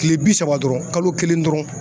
Kile bi saba dɔrɔn kalo kelen dɔrɔn